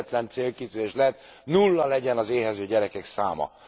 Egyetlen célkitűzés lehet nulla legyen az éhező gyerekek száma.